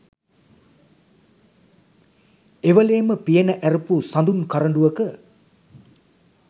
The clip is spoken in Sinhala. එවෙලේම පියන ඇරපු සඳුන් කරඬුවක